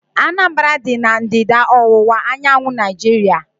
Anambra dị na ndịda-ọwụwa anyanwụ Naijiria